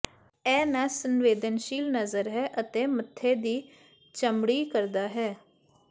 ਇਹ ਨਸ ਸੰਵੇਦਨਸ਼ੀਲ ਨਜ਼ਰ ਹੈ ਅਤੇ ਮੱਥੇ ਦੀ ਚਮੜੀ ਕਰਦਾ ਹੈ